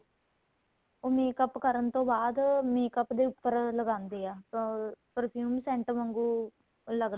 ਉਹ makeup ਕਰਨ ਤੋਂ ਬਾਅਦ makeup ਦੇ ਉੱਪਰ ਲਗਾਦੇ ਏ ਅਹ perfume sent ਵਾਂਗੂ ਲੱਗਦਾ